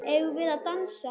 Eigum við að dansa?